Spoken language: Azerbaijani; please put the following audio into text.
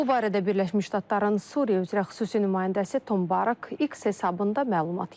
Bu barədə Birləşmiş Ştatların Suriya üzrə xüsusi nümayəndəsi Tom Barak X hesabında məlumat yayıb.